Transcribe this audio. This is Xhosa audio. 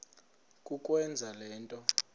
kukwenza le nto